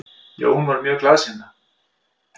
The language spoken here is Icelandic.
Jón var mjög glaðsinna.